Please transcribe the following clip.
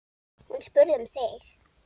Hún spurði um þig.